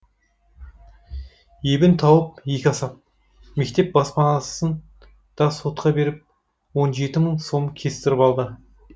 ебін тауып екі асап мектеп баспасын да сотқа беріп он жеті мың сом кестіріп алды